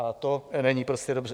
A to není prostě dobře.